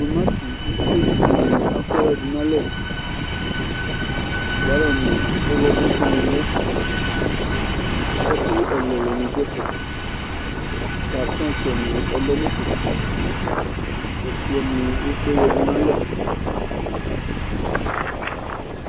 Tumati ikolisuni afua yǝdu nʋ alɛ, galɔnɩ ɔɣlɔmɔsu ni lɛ Ɛkʋ ɛlʋɛlʋ nidu ɛfɛ Karitɔtsɛ ni alɛ nʋ ɛfɛ, ɛkplɔni ekple yǝdu nʋ alɛ